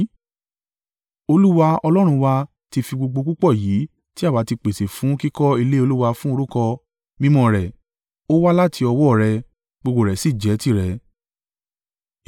Olúwa Ọlọ́run wa tí fi gbogbo púpọ̀ yìí tí àwa ti pèsè fún kíkọ́ ilé Olúwa fun orúkọ, mímọ́ rẹ̀, ó wá láti ọwọ́ ọ̀ rẹ, gbogbo rẹ̀ sì jẹ́ tirẹ̀.